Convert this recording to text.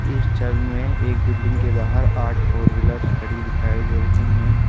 इस छवि में एक बिल्डिंग के बाहर आठ फोर व्हीलर्स खड़ी दिखाई दे रही हैं।